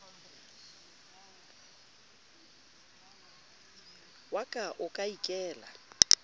wa ka o ka ikela